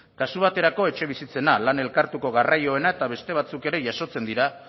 kasu baterako etxebizitzena lan elkartuko garraioena eta beste batzuk ere jasotzen dira